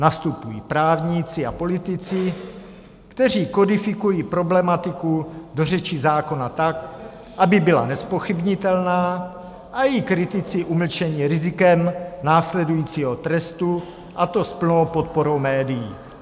Nastupují právníci a politici, kteří kodifikují problematiku do řeči zákona tak, aby byla nezpochybnitelná a její kritici umlčeni rizikem následujícího trestu, a to s plnou podporou médií.